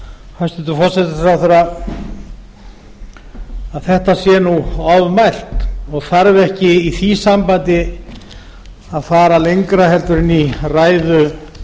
hæstvirtur forsætisráðherra að þetta sé ofmælt og þarf ekki í því sambandi að fara lengra en í ræðu núverandi